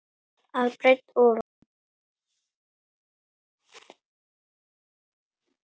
að breidd ofan.